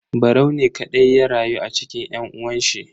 Barau ne kadai ya rayu a cikin yan uwanshi.